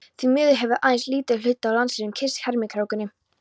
Því miður hefur aðeins lítill hluti af landslýð kynnst hermikrákunni